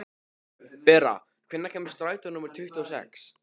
Bera, hvenær kemur strætó númer tuttugu og sex?